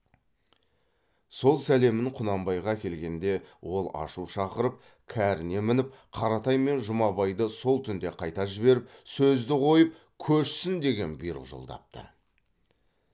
сол сәлемін құнанбайға әкелгенде ол ашу шақырып кәріне мініп қаратай мен жұмабайды сол түнде қайта жіберіп сөзді қойып көшсін деген бұйрық жолдапты